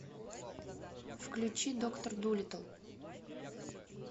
включи доктор дулиттл